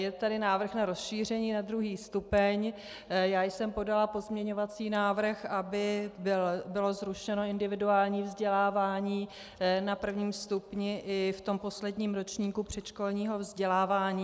Je tady návrh na rozšíření na druhý stupeň, já jsem podala pozměňovací návrh, aby bylo zrušeno individuální vzdělávání na prvním stupni i v tom posledním ročníku předškolního vzdělávání.